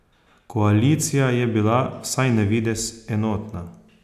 Koalicija je bila, vsaj navidez, enotna.